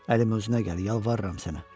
Əlim özünə gəl, yalvarıram sənə.